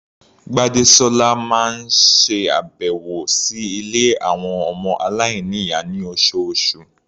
Gbádésọ́lá máa ń ṣe àbẹ̀wò sí ilé àwọn ọmọ aláìníyàá ní oṣooṣù.